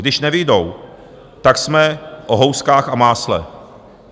Když nevyjdou, tak jsme o houskách a másle.